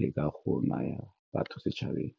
leka go naya batho setšhabeng.